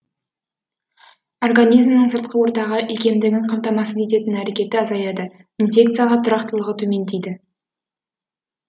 организмнің сыртқы ортаға икемдігін қамтамасыз ететін әрекеті азаяды инфекцияға тұрақтылығы төмендейді